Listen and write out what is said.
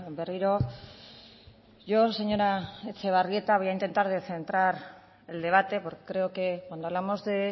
berriro yo señora etxebarrieta voy a intentar de centrar el debate porque creo que cuando hablamos de